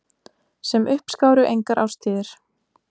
Sem uppskáru engar árstíðir.